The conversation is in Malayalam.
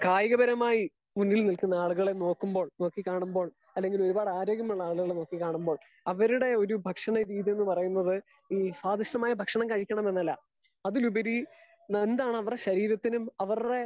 സ്പീക്കർ 2 കായികപരമായി മുന്നിൽ നിൽക്കുന്ന ആളുകളെ നോക്കുമ്പോൾ നോക്കി കാണുമ്പോൾ അല്ലെങ്കിൽ ആരോഗ്യമുള്ള ആളുകളെ നോക്കി കാണുമ്പോൾ അവരുടെ ഒരു ഭക്ഷണ രീതി എന്ന് പറയുന്നത് ഈ സ്വദിഷ്ടമായ ഭക്ഷണം കഴിക്കണമെന്നല്ല അതിനുപരി എന്താണ് അവരുടെ ശരീരത്തിന് അവരുടെ